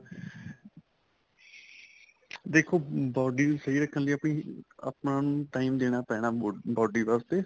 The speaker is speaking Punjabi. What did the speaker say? ਦੇਖੋ body ਨੂੰ ਸਹੀ ਰੱਖਣ ਲਈ ਆਪਣੀ ਆਪਾਂ ਨੂੰ time ਦੇਣਾ ਪੈਣਾ body ਵਾਸਤੇ